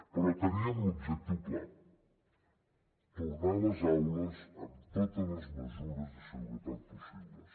però teníem l’objectiu clar tornar a les aules amb totes les mesures de seguretat possibles